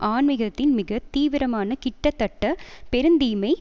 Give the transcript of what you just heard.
ஆன்மிகத்தின் மிக தீவிரமான கிட்டத்தட்ட பெருந்தீமை